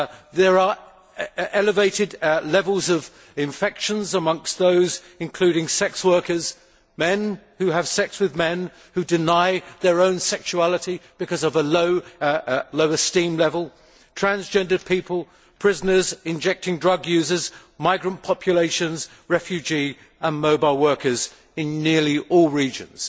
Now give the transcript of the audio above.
There are elevated levels of infections amongst sex workers, men who have sex with men and deny their own sexuality because of a low esteem level, transgendered people, prisoners, injecting drug users, migrant populations, refugee and mobile workers in nearly all regions.